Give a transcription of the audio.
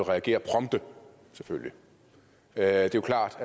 reagere prompte det er jo klart